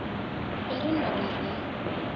be re no re re